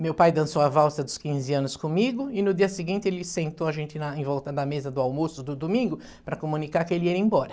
Meu pai dançou a valsa dos quinze anos comigo e no dia seguinte ele sentou a gente em volta da mesa do almoço, do domingo, para comunicar que ele ia embora.